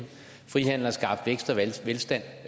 frihandel har skabt vækst og velstand